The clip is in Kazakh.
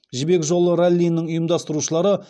жібек жолы раллиінің ұйымдастырушылары